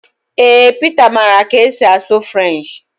Ee Pita maara ka esi asụ French